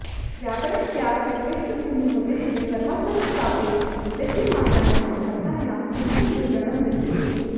व्याकरणस्यास्य पृष्ठभूमिमुद्दिश्य कथासरित्सागरे विद्यमानायां कथायां किञ्चन विवरणं विद्यते